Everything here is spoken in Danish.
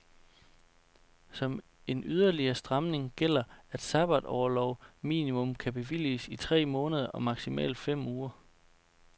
Som en yderligere stramning gælder, at sabbatorlov minimum kan bevilges i tre måneder og maksimalt fem uger.